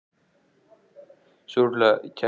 En hvað skýrir þá að íbúarnir rýma hér húsakynni sín?